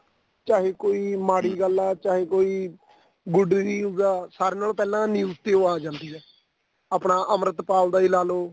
ਚਾਹੇ ਕੋਈ ਮਾੜੀ ਗੱਲ ਆ ਚਾਹੇ ਕੋਈ good news ਆ ਸਾਰਿਆਂ ਨਾਲੋ ਪਹਿਲਾਂ news ਤੇ ਓ ਆ ਜਾਂਦੀ ਆ ਆਪਣਾ ਅਮ੍ਰਿਤਪਾਲ ਦਾ ਈ ਲਾਲੋ